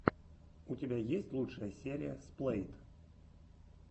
у тебя есть лучшая серия сплэйт